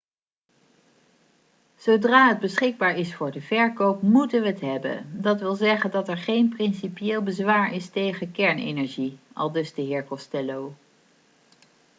'zodra het beschikbaar is voor de verkoop moeten we het hebben. dat wil zeggen dat er geen principieel bezwaar is tegen kernenergie,' aldus de heer costello